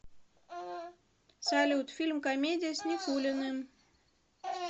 салют фильм комедия с никулиным